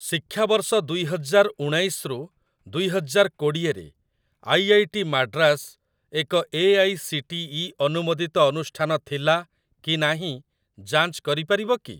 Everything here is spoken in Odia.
ଶିକ୍ଷାବର୍ଷ ଦୁଇ ହଜାର ଊଣାଇଶ ରୁ ଦୁଇ ହଜାର କୋଡିଏ ରେ ଆଇଆଇଟି ମାଡ୍ରାସ ଏକ ଏଆଇସିଟିଇ ଅନୁମୋଦିତ ଅନୁଷ୍ଠାନ ଥିଲା କି ନାହିଁ ଯାଞ୍ଚ କରିପାରିବ କି?